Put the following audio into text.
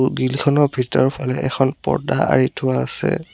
Grill খনৰ ভিতৰফলে এখন পৰ্দ্দা আৰি থোৱা আছে।